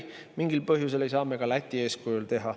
Mingil põhjusel ei saa me ka Läti eeskujul seda teha.